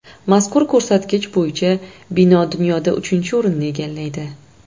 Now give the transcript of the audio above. Mazkur ko‘rsatkich bo‘yicha bino dunyoda uchinchi o‘rinni egallaydi.